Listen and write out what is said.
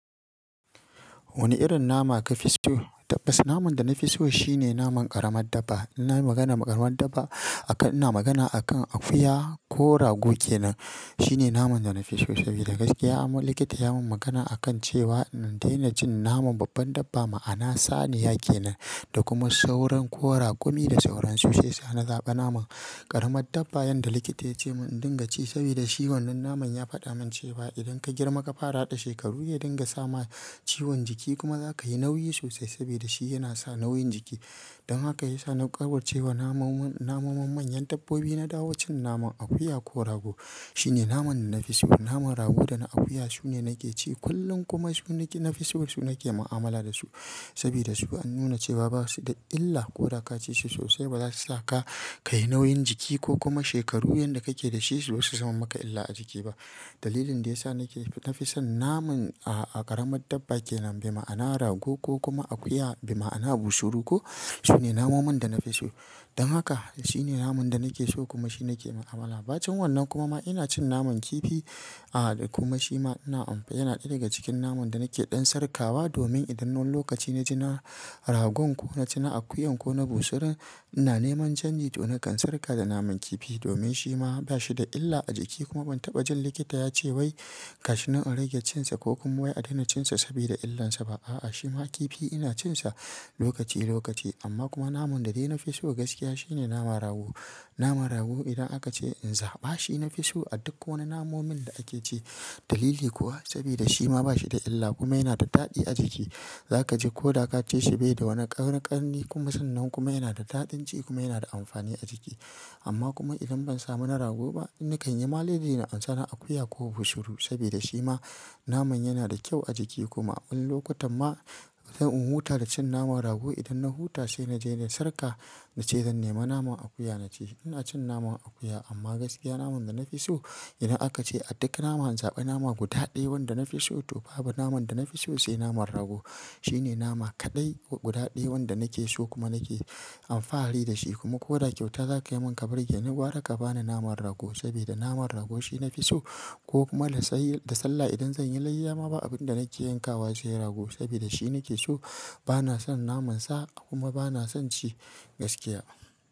Wani irin nama kafi so? Tabbas naman da na fi so shine naman ƙaramar dabba. Ina magana ƙaramar dabba akan ina magana akan akuya ko rago kenan. Shine naman da na fi so saboda gaskiya am wani likita ya mun magana akan cewa in daina cin naman babban dabba ma'ana saniya kenan da kuma sauran ko raƙumi da sauran su sai sa na zaɓa naman ƙaramar dabba. Yanda likita yace mun in dinga ci saboda shi wannan naman ya faɗa mun cewa idan ka girma ka fara da shekaru ya dinga sama ciwon jiki kuma zaka yi nauyi sosai saboda shi yana sa nauyin jiki. Don haka ya sa na ƙauracewa namomin, namomin manyan dabbobi na dawo cin naman akuya ko rago shine naman da na fi so. Naman rago da na akuya sune nake ci kullum kuma su naji na fi so su nake ma'amala da su. Saboda su an nuna cewa ba su da illa ko da ka ci shi sosai ba za su sa ka kayi nauyin jiki ko kuma shekaru yanda kake da shi su zo su zama maka illa a jiki ba. Dalilin da ya sa nake na fi son naman ƙaramar dabba kenan, bima'ana rago ko kuma akuya bima'ana bunsuru ko sune namomin da na fi so. Don haka shine naman da nake so kuma shi nake ma'amala. Ba cin wannan kuma ma ina cin naman kifi, ah da kuma shi ma ina amf-- yana ɗaya daga cikin naman da nake ɗan sarƙawa domin idan wani lokaci naci na ragon ko naci na akuyan ko na bunsurun ina neman chanji to na kan sarƙa da naman kifi domin shi ma ba shi da illa a jiki kuma ban taɓa jin likita ya ce wai, gashi nan a rage cin sa ko kuma wai a daina cin sa saboda illansa ba. A'a, shi ma kifi ina cin sa lokaci lokaci. Amma kuma naman da dai na fi so gaskiya shine naman rago. Naman rago idan aka ce in zaɓa shi na fi so a duk wani namomin da ake ci. Dalili kuwa saboda shi ma ba shi da illa kuma yana da daɗi a jiki. Zaka ji ko da kaci shi bai da wani ƙarni, ƙarni kuma sannan kuma yana da daɗin ci kuma yana da amfani a jiki. Amma kuma idan ban samu na rago ba in na kan yi maneji na ansa na akuya ko bunsuru saboda shi ma naman yana da kyau a jiki kuma abin lokutan ma in huta da cin naman rago idan na huta sai naje na sarƙa nace zan nema naman akuya na ci. Ina cin naman akuya amma gaskiya naman da na fi so idan aka ce a duk nama in zaɓi nama guda ɗaya wanda na fi so to babu naman da na fi so sai naman rago. Shine nama kaɗai ko guda ɗaya wanda nake so kuma nake alfahari da shi kuma ko da ƙyauta zaka yi mun ka burge ni gwara ka bani naman rago saboda naman rago shi na fi so ko kuma da sai da sallah idan zan yi layya ma ba abin da nake yankawa sai rago saboda shi nake so. Bana son naman sa kuma bana son ci gaskiya.